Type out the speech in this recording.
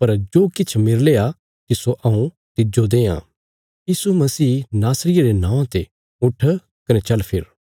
पर जो किछ मेरले आ तिस्सो हऊँ तिज्जो देआं यीशु मसीह नासरिये रे नौआं ते उट्ठ कने चल फिर